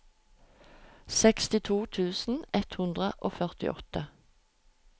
sekstito tusen ett hundre og førtiåtte